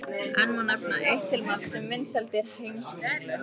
Enn má nefna eitt til marks um vinsældir Heimskringlu.